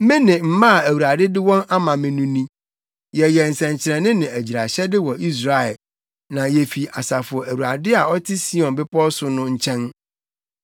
Me ne mma a Awurade de wɔn ama me no ni. Yɛyɛ nsɛnkyerɛnne ne agyiraehyɛde wɔ Israel, na yefi Asafo Awurade a ɔte Sion Bepɔw so no nkyɛn.